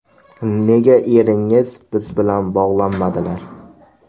Nega eringiz biz bilan bog‘lanmadilar?